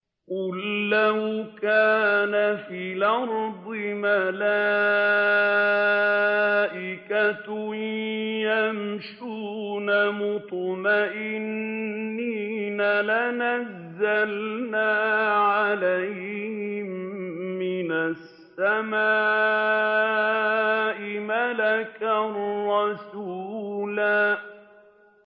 قُل لَّوْ كَانَ فِي الْأَرْضِ مَلَائِكَةٌ يَمْشُونَ مُطْمَئِنِّينَ لَنَزَّلْنَا عَلَيْهِم مِّنَ السَّمَاءِ مَلَكًا رَّسُولًا